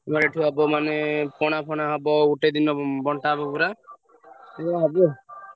ଏବେ ମାନେ ପଣା ଫଣା ହବ ଗୋଟେ ଦିନ ବଣ୍ଟା ହବ ପୁରା। ଏଇଆ ହବ।